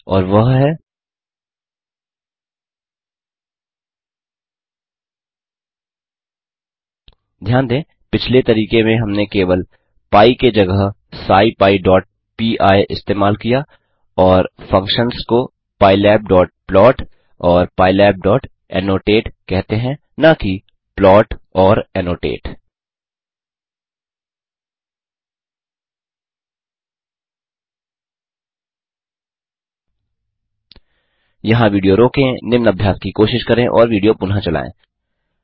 और वह है ध्यान दें पिछले तरीके में हमने केवल पी के जगह scipyपी इस्तेमाल किया और फंक्शन्स को pylabplot और pylabannotate कहते हैं न कि plot और annotate यहाँ विडियो रोकें निम्न अभ्यास की कोशिश करें और विडियो पुनः चलायें